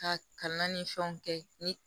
Ka kalan ni fɛnw kɛ ni